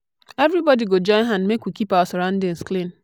everybodi go join hand make we keep our surroundings clean.